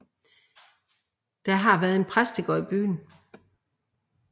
Der har været præstegård i byen